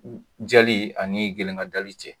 Jali ani gerenkajali cɛ